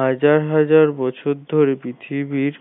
হাজার হাজার বছর ধরে পৃথিবীর